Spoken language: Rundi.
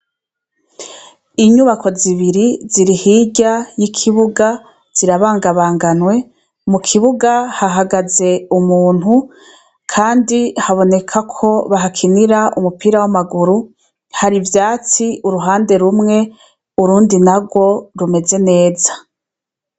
Inyubakwa zibiri ziri hirya y'ikibuga zirabangabanganwe mukibuga hahagaze umuntu kandi bibonekako bahakinira umupira w'amaguru har'ivyatsi uruhande rumwe urundi narwo rumeze neza.